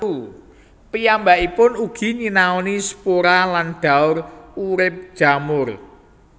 Piyambakipun ugi nyinaoni spora dan daur urip jamur